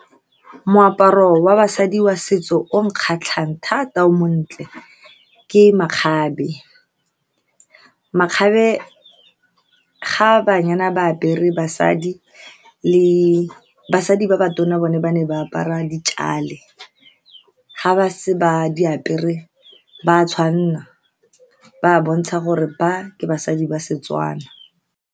Moaparo wa basadi wa setso o nkgatlhang thata, o montle, ke makgabe. Makgabe ga banyana ba apere, basadi le basadi ba ba tona bone ba ne ba apara dikale. Fa ba setse ba di apere, ba tshwanelwa ba bontsha gore ba ke basadi ba Setswana.